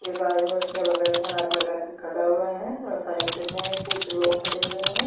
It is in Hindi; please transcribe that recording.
एक आदमी उसके बगल में हाथ लगा के खड़ा हुआ है और साइड में कुछ लोग खड़े हुए हैं।